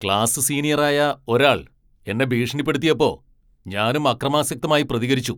Class senior ആയ ഒരാൾ എന്നെ ഭീഷണിപ്പെടുത്തിയപ്പോ ഞാനും അക്രമാസക്തമായി പ്രതികരിച്ചു.